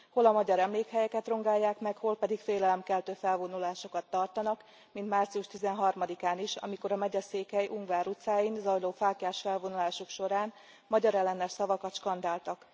Hol a magyar emlékhelyeket rongálják meg, hol pedig félelemkeltő felvonulásokat tartanak, mint március 13 án is, amikor a megyeszékhely, Ungvár utcáin zajló fáklyás felvonulások során magyarellenes szavakat skandáltak.